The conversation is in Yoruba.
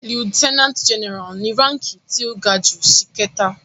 Lieutenant general ni ránki tí ó ga jù ṣìkẹta.